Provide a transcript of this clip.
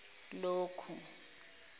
lokhu